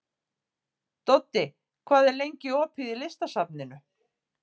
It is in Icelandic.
Doddi, hvað er lengi opið í Listasafninu?